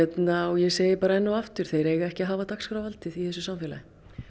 ég segi bara enn og aftur þeir eiga ekki að hafa dagskrárvaldið í þessu samfélagi